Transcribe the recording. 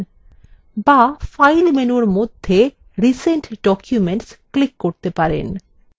বা file menu মধ্যে recent documents click করতে পারেন